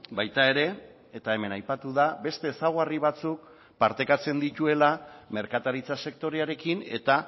baita ere eta hemen aipatu da beste ezaugarri batzuk partekatzen dituela merkataritza sektorearekin eta